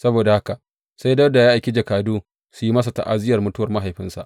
Saboda haka sai Dawuda ya aiki jakadu su yi masa ta’aziyyar mutuwar mahaifinsa.